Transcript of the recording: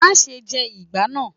Máa se jẹ ìgbá náà.